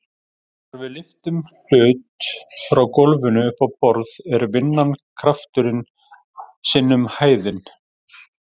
Þegar við lyftum hlut frá gólfinu upp á borð er vinnan krafturinn sinnum hæðin.